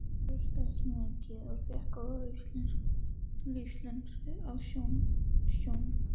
Ég þroskaðist mikið og fékk góða lífsreynslu á sjónum.